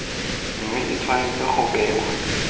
mme e tshwanetse go bewa